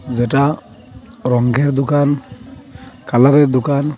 যেটা রঙ্গের দোকান কালারের দোকান।